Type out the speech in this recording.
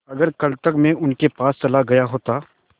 अगर कल तक में उनके पास चला गया होता